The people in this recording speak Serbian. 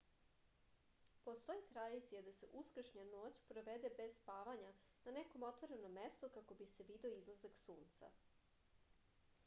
postoji tradicija da se uskršnja noć provede bez spavanja na nekom otvorenom mestu kako bi se video izlazak sunca